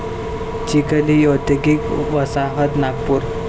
चिखली औद्योगिक वसाहत नागपूर